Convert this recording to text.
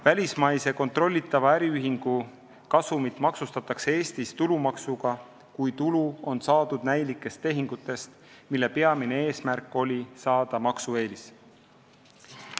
Välismaise kontrollitava äriühingu kasumit maksustatakse Eestis tulumaksuga, kui tulu on saadud näilikest tehingutest, mille peamine eesmärk oli saada maksueelis.